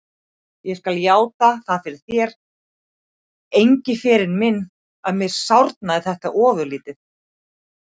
Ég skal játa það fyrir þér, Engiferinn minn, að mér sárnaði þetta ofurlítið.